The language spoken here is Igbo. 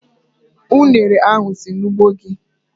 Ụnere ahu si n'ugbo gi?